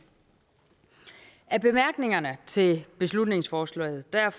af bemærkningerne til beslutningsforslaget